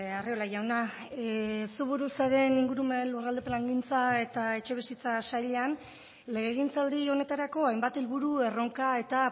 arriola jauna zu buru zaren ingurumen lurralde plangintza eta etxebizitza sailean legegintzaldi honetarako hainbat helburu erronka eta